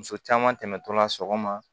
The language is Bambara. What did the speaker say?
Muso caman tɛmɛtɔla sɔgɔma